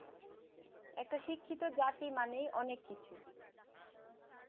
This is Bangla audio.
একটা শিক্ষিত জাতি মানেই অনেক কিছু